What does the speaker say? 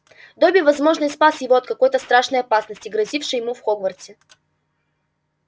добби возможно и спас его от какой то страшной опасности грозившей ему в хогвартсе